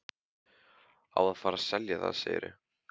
Á að fara að selja það, segirðu?